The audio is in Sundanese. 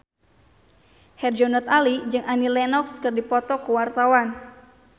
Herjunot Ali jeung Annie Lenox keur dipoto ku wartawan